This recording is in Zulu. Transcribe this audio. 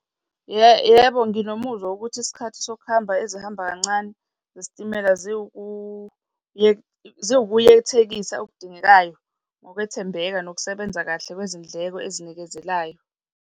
Yebo, nginomuzwa wokuthi isikhathi sokuhamba ezihamba kancane zesitimela ziwukuyethekisa okudingekayo ngokwethembeka nokusebenza kahle kwezindleko ezinikezelayo.